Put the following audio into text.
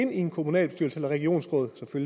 ind i en kommunalbestyrelse et regionsråd